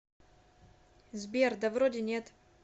сбер да вроде нет